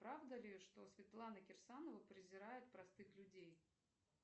правда ли что светлана кирсанова презирает простых людей